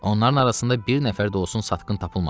Onların arasında bir nəfər də olsun satqın tapılmadı.